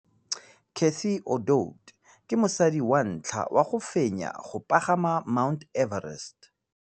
Cathy Odowd ke mosadi wa ntlha wa go fenya go pagama ga Mt Everest.